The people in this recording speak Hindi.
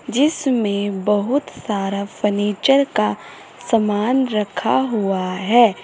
जिसमें बहुत सारा फर्नीचर का सामान रखा हुआ है।